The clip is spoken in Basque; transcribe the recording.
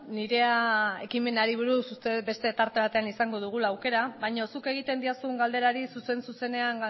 nirea ekimenari buruz uste dut beste tarte batean izango dugula aukera baina zuk egiten didazun galderari zuzen zuzenean